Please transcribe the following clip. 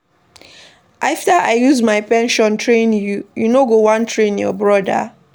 After I use my pension train you, you no wan train your broda.